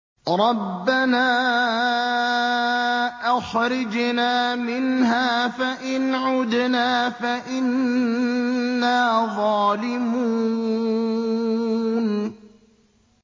رَبَّنَا أَخْرِجْنَا مِنْهَا فَإِنْ عُدْنَا فَإِنَّا ظَالِمُونَ